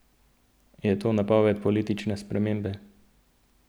Je to napoved politične spremembe?